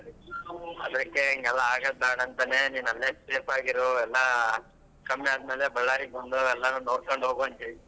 ಅದಕ್ಕೇ ಹಿಂಗೆಲ್ಲ ಆಗಾದ್ಬೇಡಾಂತಾನೆ ಅಂತಾನೇ ನಿನ್ನ ಅಲ್ಲೇ safe ಆಗಿ ಇರು ಎಲ್ಲ ಕಮ್ಮಿ ಆದ್ಮೇಲೆ Ballari ಬಂದು ಎಲ್ಲರನ್ನು ನೋಡ್ಕೊಂಡು ಹೋಗ್ವಂತೆ.